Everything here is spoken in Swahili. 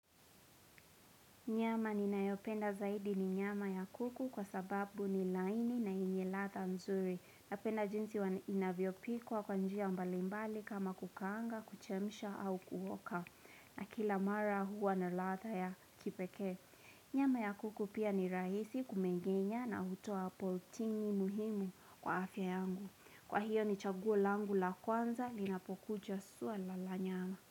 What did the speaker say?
Nyama ninayopenda zaidi ni nyama ya kuku kwa sababu ni laini na yenye ladha mzuri Napenda jinsi wa inavyopikwa kwa njia mbalimbali kama kukaanga, kuchemsha au kuhoka na kila mara huwa na ladha ya kipeke Nyama ya kuku pia ni rahisi kumegenya na hutoa proteini muhimu kwa afya yangu Kwa hiyo ni chaguo langu la kwanza linapokuja suala la nyama.